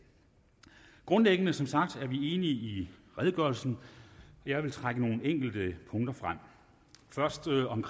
grundlæggende som sagt enige i redegørelsen jeg vil trække nogle enkelte punkter frem først om